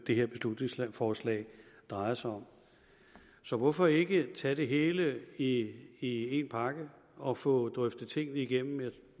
det her beslutningsforslag drejer sig om så hvorfor ikke tage det hele i i en pakke og få drøftet tingene igennem jeg